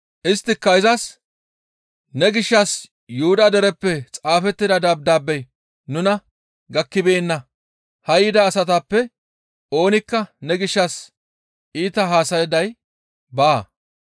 Isttika izas, «Ne gishshas Yuhuda dereppe xaafettida dabdaabey nuna gakkibeenna; haa yida asatappe oonikka ne gishshas iita haasayday baa.